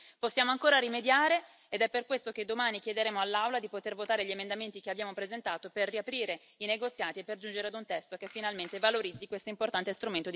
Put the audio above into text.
Possiamo ancora rimediare ed è per questo che domani chiederemo all'Aula di poter votare gli emendamenti che abbiamo presentato per riaprire i negoziati e per giungere ad un testo che finalmente valorizzi questo importante strumento di democrazia diretta.